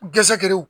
Gsɛ gɛrɛw